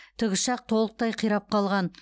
тікұшақ толықтай қирап қалған